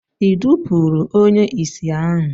I dupuru onye isi ahu?